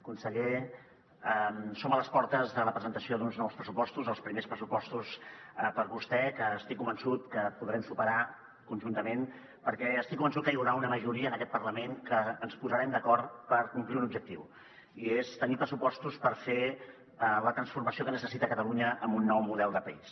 conseller som a les portes de la presentació d’uns nous pressupostos els primers pressupostos per a vostè que estic convençut que podrem superar conjuntament perquè estic convençut que hi haurà una majoria en aquest parlament que ens posarem d’acord per complir un objectiu i és tenir pressupostos per fer la transformació que necessita catalunya amb un nou model de país